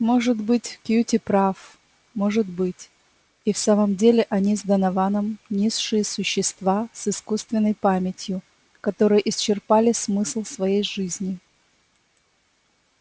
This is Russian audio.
может быть кьюти прав может быть и в самом деле они с донованом низшие существа с искусственной памятью которые исчерпали смысл своей жизни